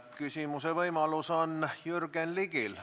Küsimise võimalus on Jürgen Ligil.